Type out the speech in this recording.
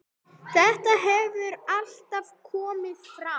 Þetta hefur allt komið fram.